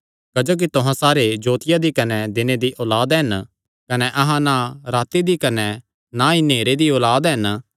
क्जोकि तुहां सारे जोतिया दी कने दिने दी औलाद हन कने अहां ना राती दी कने ना ई नेहरे दी औलाद हन